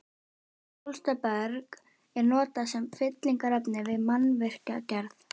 Bólstraberg er notað sem fyllingarefni við mannvirkjagerð.